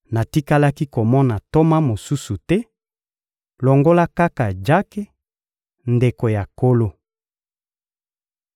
Natikalaki komona ntoma mosusu te, longola kaka Jake, ndeko ya Nkolo.